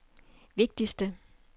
vigtigste